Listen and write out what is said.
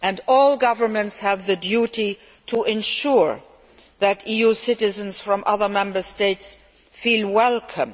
All governments have the duty to ensure that EU citizens from other Member States feel welcome.